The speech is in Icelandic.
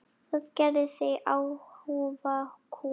Það gerði þig afhuga kúm.